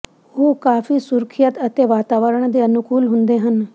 ਉਹ ਕਾਫੀ ਸੁਰੱਖਿਅਤ ਅਤੇ ਵਾਤਾਵਰਣ ਦੇ ਅਨੁਕੂਲ ਹੁੰਦੇ ਹਨ